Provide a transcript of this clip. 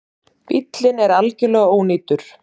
Bíllinn er algerlega ónýtur